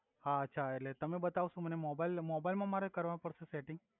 હા અછા એટલે તમે બતાવશો મને મોબઇલ ને મોબઇલ મા મારે કર્વા પડશે સેટિંગ